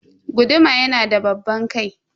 Guduma yanada babban kai.